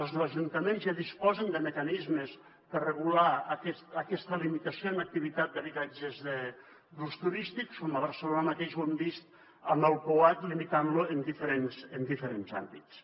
els ajuntaments ja disposen de mecanismes per regular aquesta limitació en activitat d’habitatges d’ús turístic a barcelona mateix ho hem vist amb el peuat limitant lo en diferents àmbits